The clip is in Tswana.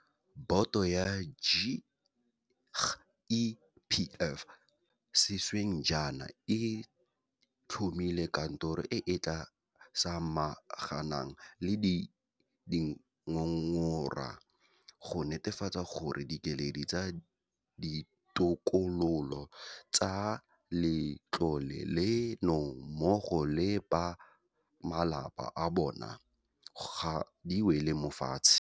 Boto ya GEPF sešweng jaana e tlhomile kantoro e e tla samaganang le dingongora go netefatsa gore dikeledi tsa ditokololo tsa letlole leno mmogo le ba malapa a bona ga di wele mo fatshe.